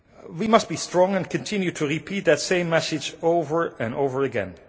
We must be strong and continue to repeat that same message over and over again.